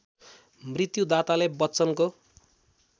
मृत्युदाताले बच्चनको